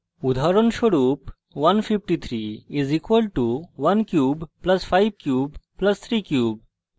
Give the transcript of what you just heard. উদাহরণস্বরূপ 153 equal to 1 cube plus 5 cube plus 3 cube